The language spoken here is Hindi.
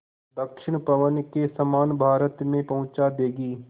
दक्षिण पवन के समान भारत में पहुँचा देंगी